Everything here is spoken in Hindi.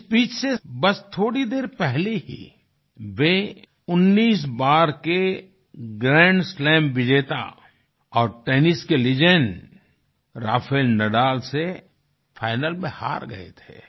इस स्पीच से बस थोड़ी देर पहले ही वे 19 बार के ग्रैंड स्लैम विजेता और टेनिस के लेजेंड राफेल नादल से फाइनल में हार गए थे